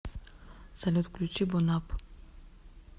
салют включи бонапп